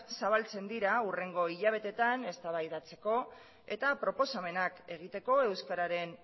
zabaltzen dira hurrengo hilabeteetan eztabaidatzeko eta proposamenak egiteko euskararen